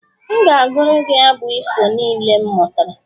M ga-agụru gị abụ ifo niile m mụtara